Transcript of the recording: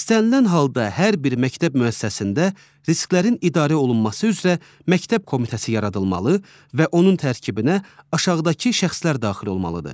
İstənilən halda hər bir məktəb müəssisəsində risklərin idarə olunması üzrə məktəb komitəsi yaradılmalı və onun tərkibinə aşağıdakı şəxslər daxil olmalıdır.